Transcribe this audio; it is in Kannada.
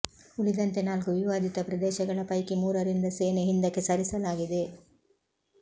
ಉಳಿದಂತೆ ನಾಲ್ಕು ವಿವಾದಿತ ಪ್ರದೇಶಗಳ ಪೈಕಿ ಮೂರರಿಂದ ಸೇನೆ ಹಿಂದಕ್ಕೆ ಸರಿಸಲಾಗಿದೆ